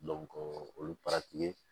olu